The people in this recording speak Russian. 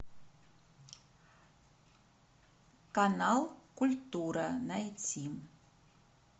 канал культура найти